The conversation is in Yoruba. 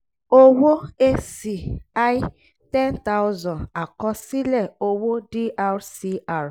owó a/c i ten thousand àkọsílẹ̀ owó dr cr